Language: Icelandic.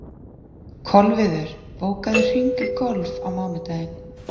Kolviður, bókaðu hring í golf á mánudaginn.